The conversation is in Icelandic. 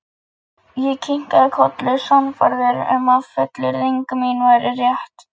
Ég kinkaði kolli, sannfærður um að fullyrðing mín væri rétt.